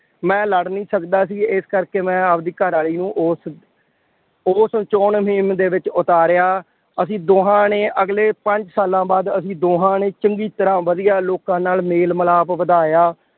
ਮੈਂ ਲੜ ਨਹੀਂ ਸਕਦਾ ਸੀ। ਇਸ ਕਰਕੇ ਮੈਂ ਆਪਦੀ ਘਰਵਾਲੀ ਨੂੰ ਉਸ ਉਸ ਚੋਣ ਮੁਹਿੰਮ ਦੇ ਵਿੱਚ ਉਤਾਰਿਆ। ਅਸੀਂ ਦੋਹਾਂ ਨੇ ਅਗਲੇ ਪੰਜ ਸਾਲਾਂ ਬਾਅਦ ਅਸ਼ੀਂ ਦੋਹਾਂ ਨੇ ਚੰਗੀ ਤਰ੍ਹਾਂ ਵਧੀਆ ਲੋਕਾਂ ਨਾਲ ਮੇਲ ਮਿਲਾਪ ਵਧਾਇਆ।